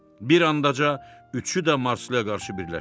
Bir andaca üçü də Marslıya qarşı birləşdi.